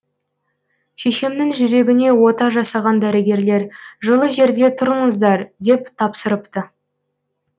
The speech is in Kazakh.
шешемнің жүрегіне ота жасаған дәрігерлер жылы жерде тұрыңыздар деп тапсырыпты